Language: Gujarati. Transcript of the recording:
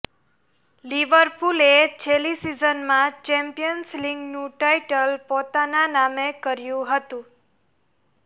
લિવરપૂલે છેલ્લી સિઝનમાં ચેમ્પિયન્સ લીગનું ટાઇટલ પોતાના નામે કર્યું હતું